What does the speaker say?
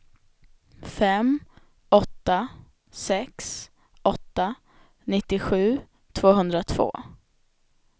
fem åtta sex åtta nittiosju tvåhundratvå